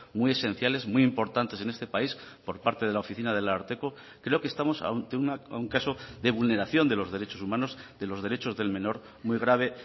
muy esenciales muy importantes en este país por parte de la oficina del ararteko creo que estamos ante un caso de vulneración de los derechos humanos de los derechos del menor muy grave